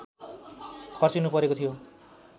खर्चिनुपरेको थियो